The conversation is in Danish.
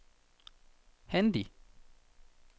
Handi